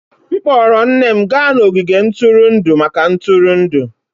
M kpọọrọ nne m gaa n'ogige ntụrụndụ maka ntụrụndụ